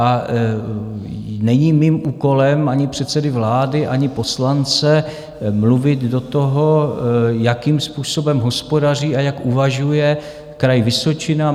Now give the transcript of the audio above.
A není mým úkolem, ani předsedy vlády, ani poslance, mluvit do toho, jakým způsobem hospodaří a jak uvažuje Kraj Vysočina.